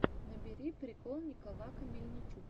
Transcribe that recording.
набери прикол николака мельничука